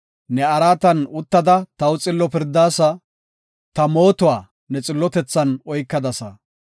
Ne araatan uttada taw xillo pirdaasa; ta mootuwa ne xillotethan oykadasa.